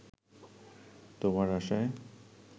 তোমার আশায়